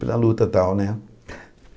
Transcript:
Pela luta e tal, né?